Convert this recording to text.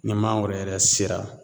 Ni maa wɛrɛ yɛrɛ sera